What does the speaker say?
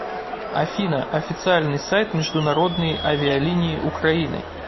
афина официальный сайт международные авиалинии украины